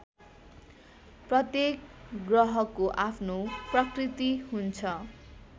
प्रत्येक ग्रहको आफ्नो प्रकृति हुन्छ